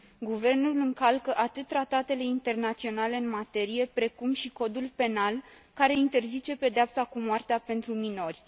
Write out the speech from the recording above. Guvernul încalcă atât tratele internaționale în materie, cât și codul penal care interzice pedeapsa cu moartea pentru minori.